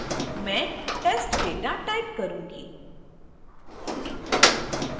मैं testdata type करूंगी